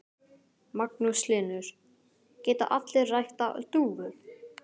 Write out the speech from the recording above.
Magnús Hlynur: Geta allir ræktað dúfur?